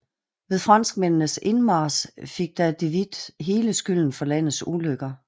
Ved franskmændenes indmarch fik da de Witt hele skylden for landets ulykker